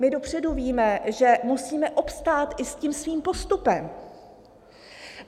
My dopředu víme, že musíme obstát i s tím svým postupem.